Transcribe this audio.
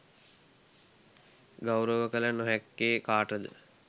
ගෞරව කළ නොහැක්කේ කාට ද?